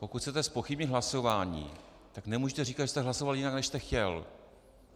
Pokud chcete zpochybnit hlasování, tak nemůžete říkat, že jste hlasoval jinak než jste chtěl.